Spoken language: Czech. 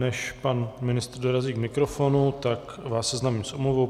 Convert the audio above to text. Než pan ministr dorazí k mikrofonu, tak vás seznámím s omluvou.